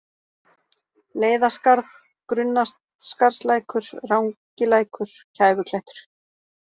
Leiðaskarð, Grunnaskarðslækur, Rangilækur, Kæfuklettur